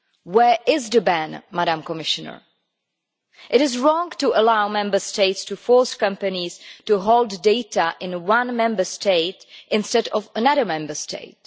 Where is the ban, Madam Commissioner? It is wrong to allow Member States to force companies to hold data in one Member State instead of another Member State.